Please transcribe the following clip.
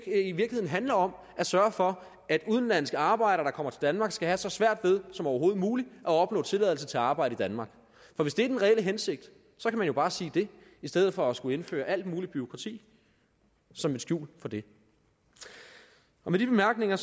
handler om at sørge for at udenlandske arbejdere der kommer danmark skal have så svært som overhovedet muligt ved at opnå tilladelse til at arbejde i danmark for hvis det er den reelle hensigt kan man jo bare sige det i stedet for at skulle indføre alt muligt bureaukrati som et skjul for det med de bemærkninger